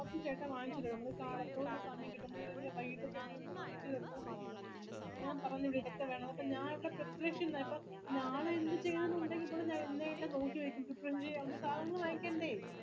വാങ്ങിച്തരും ഒന്നെ കാലത്ത് അല്ലെങ്കി സമയംകിട്ടുമ്പളെ അല്ലെങ്കി വൈകിട്ട് ചേട്ടൻ വാങ്ങിച് തെരുന്നതുമാത്രല്ല ഞാൻ പറയുന്നത്ഞാൻ ഇവിടനാളെ എന്ത്‌ചെയ്യും എന്താ ഇവള് എന്നെ അല്ലെ നോക്കിസാധനങ്ങള് വാങ്ങിക്കണ്ടേ